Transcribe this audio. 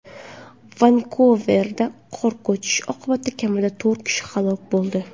Vankuverda qor ko‘chishi oqibatida kamida to‘rt kishi halok bo‘ldi.